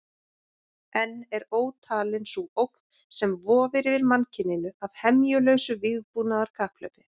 Enn er ótalin sú ógn sem vofir yfir mannkyninu af hemjulausu vígbúnaðarkapphlaupi.